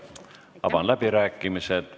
Avan läbirääkimised.